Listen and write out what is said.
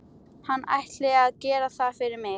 Hann ætli að gera það fyrir mig.